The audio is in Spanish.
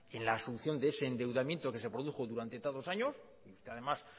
en la asunción de ese endeudamiento que se produjo durante tantos años y usted además